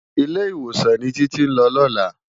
Ilé-Iwósán ni Titi n lò lòlá